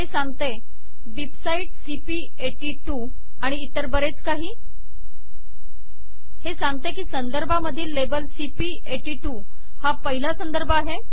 हे सांगते बिबसाइट सीपी82 आणि इतर बरेच काही हे सांगते की संदर्भामधील लेबलcp82 हा पहिला संदर्भ आहे